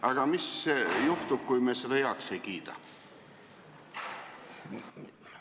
Aga mis juhtub, kui me seda heaks ei kiida?